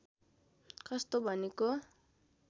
कस्तो भनेको